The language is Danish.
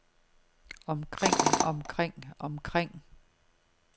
omkring omkring omkring